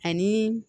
Ani